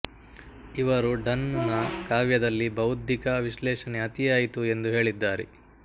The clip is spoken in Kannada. ಇವರು ಡನ್ ನ ಕಾವ್ಯದಲ್ಲಿ ಬೌದ್ದಿಕ ವಿಶ್ಲೇಶಣೆ ಅತಿಯಾಯಿತು ಎಂದು ಹೇಳಿದ್ದಾರೆ